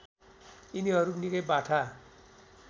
यिनीहरू निकै बाठा